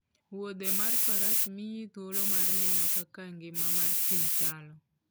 Wuodhe mar faras miyi thuolo mar neno kaka ngima mar thim chalo